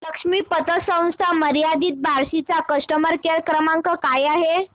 लक्ष्मी पतसंस्था मर्यादित बार्शी चा कस्टमर केअर क्रमांक काय आहे